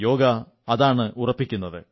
യോഗ അതാണ് ഉറപ്പിക്കുന്നത്